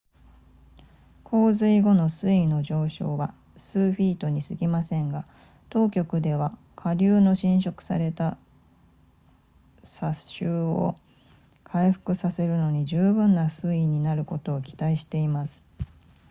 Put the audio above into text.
洪水後の水位の上昇は数フィートにすぎませんが当局では下流の浸食された砂州を回復させるのに十分な水位になることを期待しています